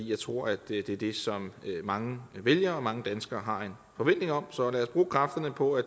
jeg tror at det er det som mange vælgere og mange danskere har en forventning om så lad os bruge kræfterne på at